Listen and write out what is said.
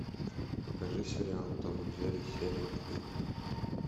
покажи сериал том и джерри серия три